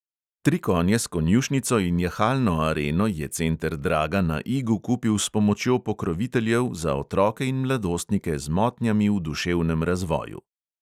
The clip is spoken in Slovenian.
Tri konje s konjušnico in jahalno areno je center draga na igu kupil s pomočjo pokroviteljev za otroke in mladostnike z motnjami v duševnem razvoju.